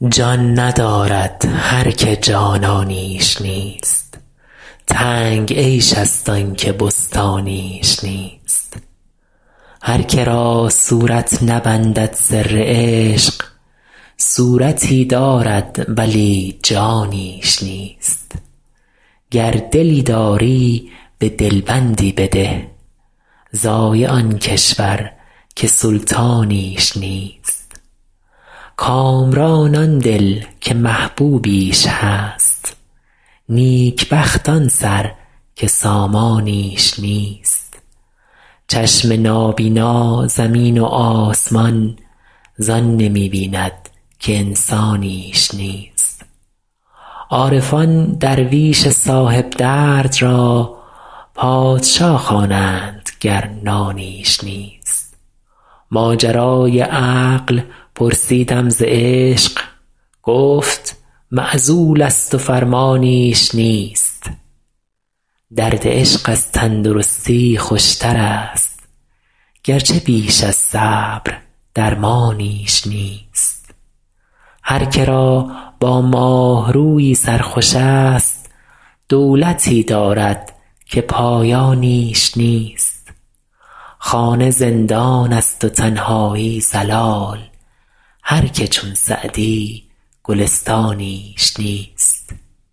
جان ندارد هر که جانانیش نیست تنگ عیش ست آن که بستانیش نیست هر که را صورت نبندد سر عشق صورتی دارد ولی جانیش نیست گر دلی داری به دل بندی بده ضایع آن کشور که سلطانیش نیست کامران آن دل که محبوبیش هست نیک بخت آن سر که سامانیش نیست چشم نابینا زمین و آسمان زان نمی بیند که انسانیش نیست عارفان درویش صاحب درد را پادشا خوانند گر نانیش نیست ماجرای عقل پرسیدم ز عشق گفت معزول ست و فرمانیش نیست درد عشق از تن درستی خوش ترست گرچه بیش از صبر درمانیش نیست هر که را با ماه رویی سر خوش ست دولتی دارد که پایانیش نیست خانه زندان ست و تنهایی ضلال هر که چون سعدی گلستانیش نیست